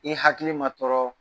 I hakili ma tɔɔrɔɔ